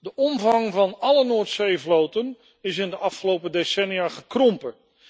De omvang van alle Noordzeevloten is in de afgelopen decennia gekrompen.